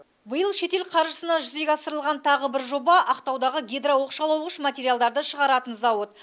биыл шетел қаржысына жүзеге асырылған тағы бір жоба ақтаудағы гидрооқшаулағыш материалдарды шығаратын зауыт